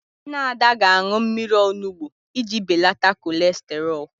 Nne Ada ga-aṅụ mmiri onugbu iji beleta kọlesterọl.